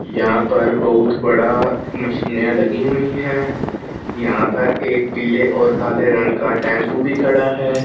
यहां पर बहुत बड़ा मशीने लगी हुई है यहां पर एक पीले और काले रंग का टेंपो भी खड़ा है।